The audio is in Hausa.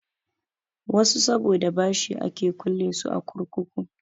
Wasu saboda bashi ake kulle su a kurkuku.